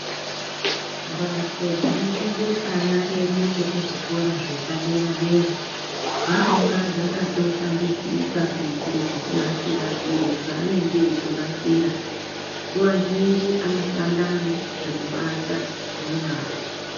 Mbatso dzinofundire ana edu ekuzvikora zvepaderadera dzinonga dzakatoshambidzika kuitire kunasire zviro zvaanenge eitonasira nguwa zhinji anoshanda nezvekubata ngenyara